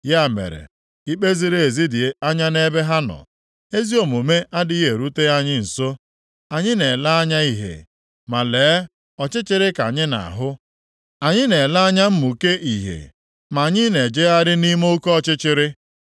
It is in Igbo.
Ya mere ikpe ziri ezi dị anya nʼebe anyị nọ, ezi omume adịghị erute anyị nso. Anyị na-ele anya ìhè, ma lee, ọchịchịrị ka anyị na-ahụ. Anyị na-ele anya mmụke ìhè ma anyị na-ejegharị nʼime oke ọchịchịrị.